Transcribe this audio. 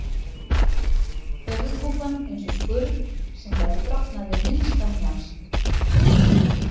Höfuðkúpan eins og skurn sem gæti brotnað við minnsta hnjask.